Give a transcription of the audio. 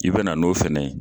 I bena n'o fɛnɛ ye